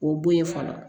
O bo ye fɔlɔ